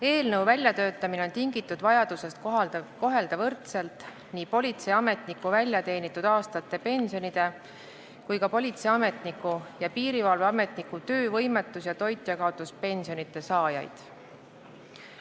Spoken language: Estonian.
Eelnõu väljatöötamine on tingitud vajadusest kohelda võrdselt nii politseiametniku väljateenitud aastate pensionide kui ka politseiametniku ning piirivalveametniku töövõimetus- ja toitjakaotuspensioni saajaid.